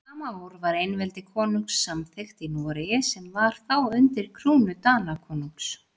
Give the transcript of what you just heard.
Sama ár var einveldi konungs samþykkt í Noregi sem var þá undir krúnu Danakonungs.